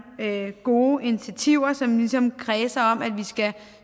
gode initiativer som ligesom kredser om at vi skal